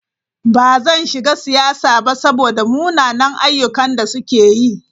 Ba zan shiga siyasa ba saboda munanan ayyukan da suke yi.